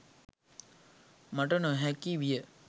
මට නොහැකි විය.